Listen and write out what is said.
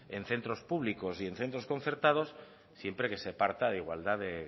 en centros públicos y en centros concertados siempre que se parta de igualdad de